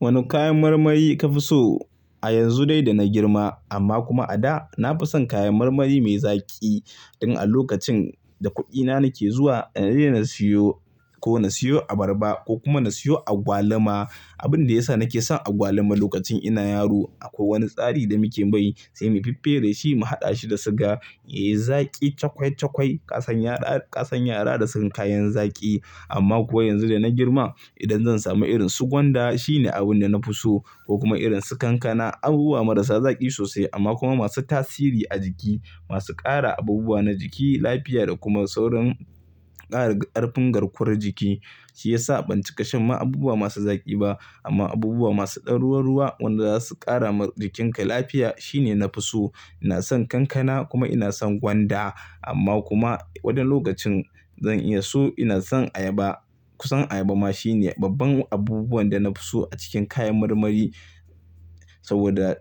Wane kayan marmari ka fi so? A yanzu dai da na girma amma kuma a da na fi son kayan marmari mai zaƙi. Dan a lokacin da kuɗina nake zuwa na daina siyo, ko na siyo abarba ko kuma na siyo agwaluma. Abin da ya sa nake son agwaluma lokacin ina yaro akwai wani tsari da muke bai sai mu fiffere shi mu haɗa shi da suga yayi zaƙi cakwai cakwai. Kasan yara, kasan yara da son kayan zaƙi amma kuwa yanzu da na girma idan zan samu irin su gwanda shine abin da na fi so ko kuma irin su kankana abubuwa marasa zaƙi sosai amma kuma masu tasiri a jiki. Masu ƙara abubuwa na jiki, lafiya da kuma saurin ƙara ƙarfin garkuwar jiki. Shi ya sa ban cika shan ma abubuwa masu zaƙi ba amma abubuwa masu ɗan ruwa ruwa wanda zasu ƙara wa jikinka lafiya shine na fi so. Ina son kankana kuma ina son gwanda amma kuma wane lokacin zan iya so ina son ayaba. Kusan ayaba ma shine babban abubuwan da na fi so a cikin kayan marmari saboda,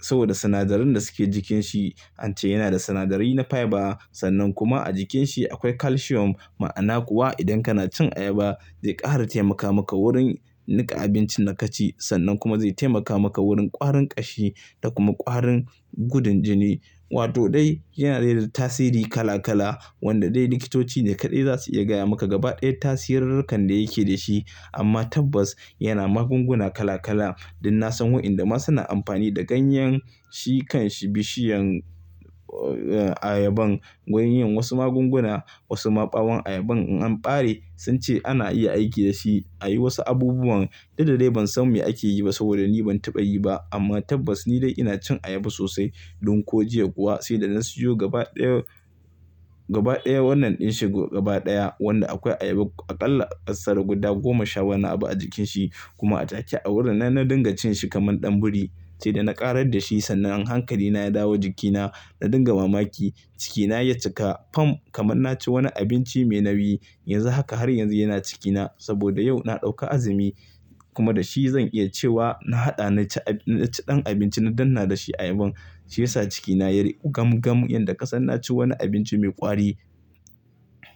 saboda sinadarin da suke jikin shi. An ce yana da sinadarai na fiber sannan kuma a jikin shi akwai calcium. Ma'ana kuwa idan kana cin ayaba zai ƙara taimaka maka wurin niƙa abincin da ka ci sannan kuma zai taimaka maka wurin ƙwarin ƙashi da kuma ƙwarin gudun jini. Wato dai yana da tasiri kala kala wanda dai likitoci ne kaɗai zasu iya gaya maka gaba ɗaya tasirurrukan da yake da shi. Amma tabbas yana magunguna kala kala dan na san waɗanda ma suna amfani da ganyen shi kan bishiyan ayaban wurin yin wasu magunguna. Wasu maɓawan ayaban in an ɓare sun ce ana iya aiki dashi a yi wasu abubuwan dukda dai ban san me ake yi ba saboda ni ban taɓa yi ba. Amma tabbas ni dai ina cin ayaba sosai. Ɗan ko jiya kuwa sai da na siyo gaba ɗaya, gaba ɗaya wannan din shi gaba ɗaya wanda akwai ayaba aƙalla ƙasar guda goma sha wani abu a jikin shi. Kuma a take a wurin nan, na dinga cin shi kaman ɗan biri sai da na ƙarar dashi sannan hankali na ya dawo jikina na dinga mamaki. Cikina ya cika fam kaman na ci wani abinci mai nauyi. Yanzu haka har yanzu yana cikina saboda yau na ɗauka azumi kuma da shi zan iya cewa na haɗa na ci, na ci ɗan abinci na dannna da shi ayaban. Shi yasa cikina ya riƙu gam gam yan da kasan na ci wani abinci mai ƙwari.